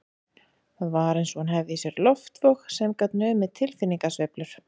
Það var eins og hún hefði í sér loftvog sem gat numið tilfinningasveiflur